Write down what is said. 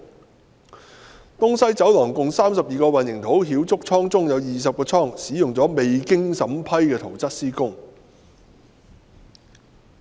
至於東西走廊共32個混凝土澆築倉中，有20個倉按照未經審批的圖則施工。